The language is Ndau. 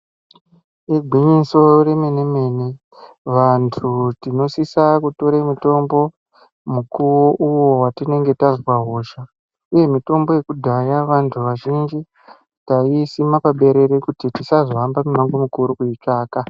Igwinyiso remene mene vantu tinosisa kutora mutombo mukuwo uyo watinenge tazwa hosha uye mutombo yekudhaya vantu vazhinji taiisima muberere kuti tisazohamba mumango kuitsvaka.